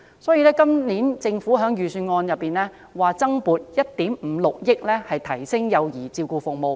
政府在今年預算案增撥1億 5,600 萬元，以提升幼兒照顧服務。